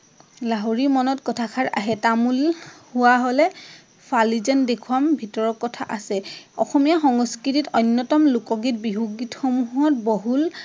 লাহৰী মনত কথাষাৰ আহে। তামোল হোৱা হলে ফালি যেন দেখোৱাম ভিতৰৰ কথা আছে। অসমীয়া সংস্কৃতিত অন্যতম লোকগীত, বিহুগীত সমূহত বহুল